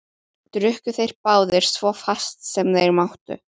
Drukku þeir báðir svo fast sem þeir máttu.